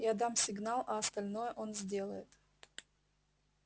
я дам сигнал а остальное он сделает